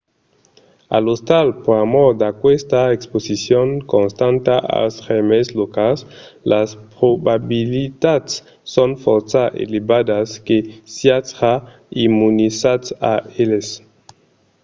a l'ostal pr'amor d’aquesta exposicion constanta als gèrmes locals las probabilitats son fòrça elevadas que siatz ja immunizats a eles